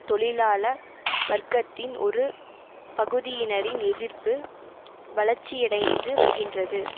தொழிலாள வர்க்கத்தின் ஒரு பகுதியினரின் எதிர்ப்பு வளர்ச்சியடைந்து வருகின்றது